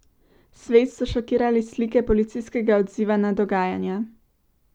Svet so šokirale slike policijskega odziva na dogajanja.